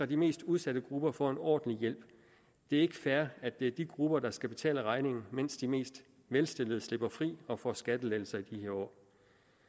de mest udsatte grupper får en ordentlig hjælp det er ikke fair at det er de grupper der skal betale regningen mens de mest velstillede slipper fri og får skattelettelser i år